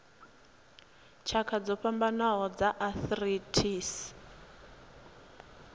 tshakha dzo fhambanaho dza arthritis